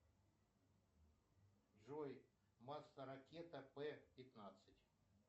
джой масса ракета п пятнадцать